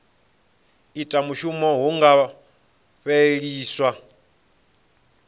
ita mushumo hu nga fheliswa